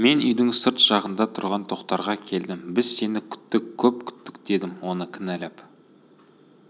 мен үйдің сырт жағында тұрған тоқтарға келдім біз сені күттік көп күттік дедім оны кінәлап